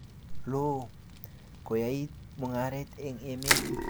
loo, koyait mungaret eng emet